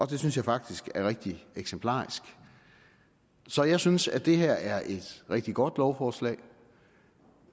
det synes jeg faktisk er rigtig eksemplarisk så jeg synes at det her er et rigtig godt lovforslag